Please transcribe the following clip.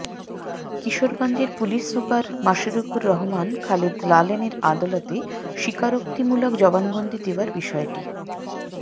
কিশোরগঞ্জের police super Mashrukur Rahman Khaled লালনের আদালতে স্বীকারোক্তিমূলক জবানবন্দি দেওয়ার বিষয়টি